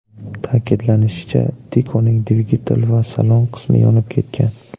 Ta’kidlanishicha, Tico‘ning dvigatel va salon qismi yonib ketgan.